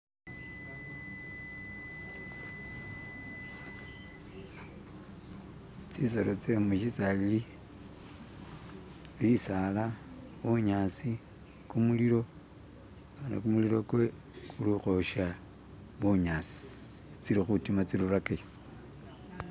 Tsisolo tsemushisali bisala bunyasi kumulilo, khane kumulilo kuliukhwosha bunyasi. Tsili khutima tsirurakayo.